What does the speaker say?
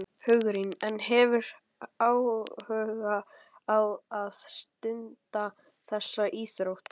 Hugrún: En hefurðu áhuga á að stunda þessa íþrótt?